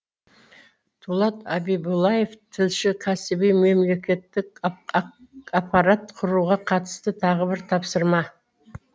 дулат абибуллаев тілші кәсіби мемлекеттік аппарат құруға қатысты тағы бір тапсырма